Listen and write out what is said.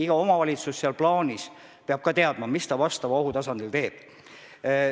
Iga omavalitsus peab teadma, mida ta konkreetse ohu korral teeb.